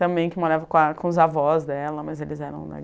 Também que morava com a com os avós dela, mas eles eram